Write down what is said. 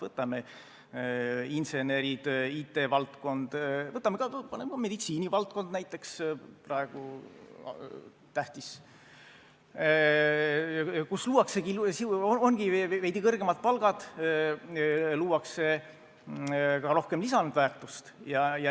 Võtame insenerid, IT-valdkonna, võtame ka meditsiinivaldkonna näiteks, mis on praegu tähtis, kus ongi veidi kõrgemad palgad, luuakse ka rohkem lisandväärtust.